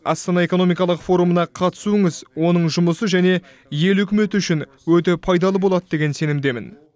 астана экономикалық форумына қатысуыңыз оның жұмысы және үкімет үшін өте пайдалы болады деген сенімдемін